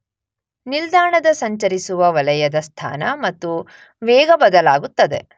ನಿಲ್ದಾಣದ ಸಂಚರಿಸುವ ವಲಯದ ಸ್ಥಾನ ಮತ್ತು ವೇಗ ಬದಲಾಗುತ್ತದೆ